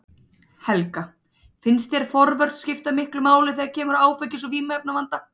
Helga: Finnst þér forvörn skipta miklu máli þegar kemur að áfengis- og vímuefnavanda?